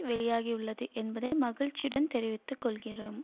வெளியாகியுள்ளது என்பதை மகிழ்ச்சியுடன் தெரிவித்து கொள்கிறோம்